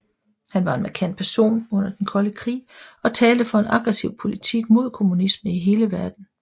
Han var en markant person under den kolde krig og talte for en aggressiv politik mod kommunisme i hele verden